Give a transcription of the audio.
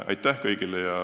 Aitäh kõigile!